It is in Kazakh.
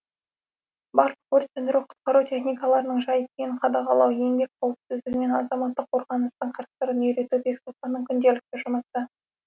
барлық өрт сөндіру құтқару техникаларының жай күйін қадағалау еңбек қауіпсіздігі мен азаматтық қорғаныстың қыр сырын үйрету бексұлтанның күнделікті жұмысы